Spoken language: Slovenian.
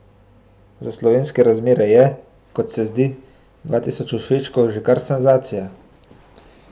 No, za slovenske razmere je, kot se zdi, tudi dva tisoč všečkov že kar senzacija.